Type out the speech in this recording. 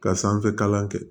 Ka sanfɛ kalan kɛ